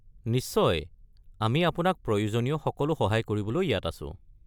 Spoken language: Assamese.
নিশ্চয়! আমি আপোনাক প্ৰয়োজনীয় সকলো সহায় প্ৰদান কৰিবলৈ ইয়াত আছো।